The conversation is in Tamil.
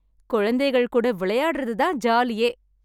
குழந்தைகள் கூட விளையாடுறது தான் ஜாலியே